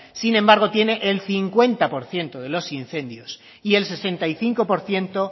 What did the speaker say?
sin embargo tiene el cincuenta por ciento de los incendios y el sesenta y cinco por ciento